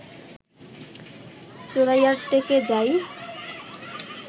চোরাইয়ার টেকে যাই